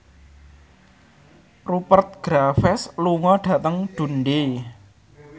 Rupert Graves lunga dhateng Dundee